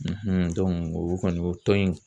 o kɔni o tɔn in